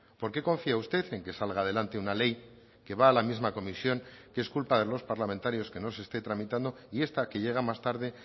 por qué confía usted en que salga adelante una ley que va a la misma comisión que es culpa de los parlamentarios que no se esté tramitando y esta que llega más tarde